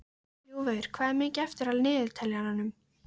Ljúfur, hvað er mikið eftir af niðurteljaranum?